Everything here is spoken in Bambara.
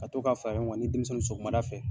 Ka to ka a faraɲɔgɔn kan ni denmisɛnnu sɔgɔmada fɛ